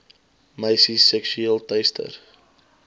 meisies seksueel teister